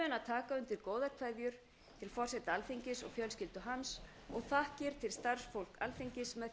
taka undir góðar kveðjur til forseta alþingis og fjölskyldu hans og þakkir til starfsfólks alþingis með því að rísa